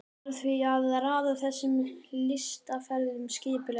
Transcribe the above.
Varð því að raða þessum lystiferðum skipulega niður.